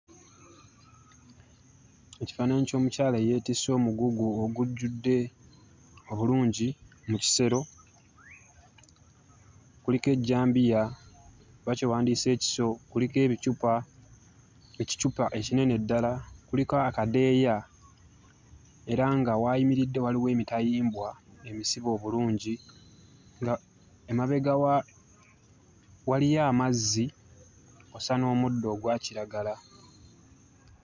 Ekifaananyi ky'omukyala eyeetisse omugugu ogujjudde obulungi mu kisero. Kuliko ejjambiya oba kye wandiyise ekiso, kuliko ebicupa, ekicupa ekinene ddala, kuliko akadeeya era nga w'ayimiridde waliwo emitayimbwa emisibe obulungi ng'emabega waliyo amazzi kw'ossa n'omuddo ogwa kiragala.